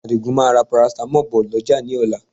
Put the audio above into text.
Àdìgún máa ra paracetamol bọ̀ lọ́jà ní ọ̀la